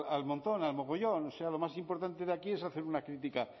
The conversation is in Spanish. al montón al mogollón o sea lo más importante de aquí es hacer una crítica